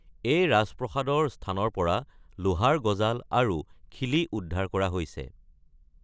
এই ৰাজপ্ৰাসাদৰ স্থানৰ পৰা লোহাৰ গজাল আৰু খিলি উদ্ধাৰ কৰা হৈছে।